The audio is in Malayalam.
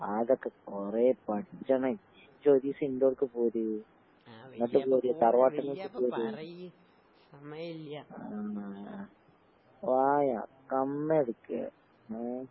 അതൊക്കെ കൊറേ പഠിച്ചണേ. ഇജ്ജൊര് ദിവസം ഇന്റെടുക്കെ പോര്. ഇങ്ങട്ട് പോര് തറവാട്ട് വീട്ട്ക്ക് പോര്. ആണോ? വായാ കന്നെടുക്ക്. ഏഹ്.